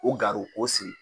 O garu o siri